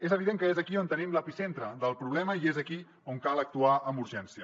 és evident que és aquí on tenim l’epicentre del problema i és aquí on cal actuar amb urgència